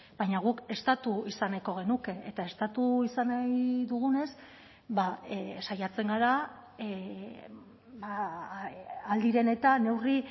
baina guk estatu izan nahiko genuke eta estatu izan nahi dugunez saiatzen gara ahal diren eta neurri